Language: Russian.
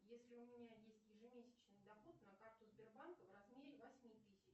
если у меня есть ежемесячный доход на карту сбербанка в размере восьми тысяч